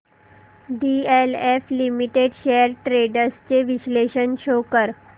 DLF limited shares trends चे विश्लेषण show कर